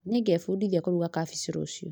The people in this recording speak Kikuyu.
Nĩngebundithia kũruga cabaci rũciũ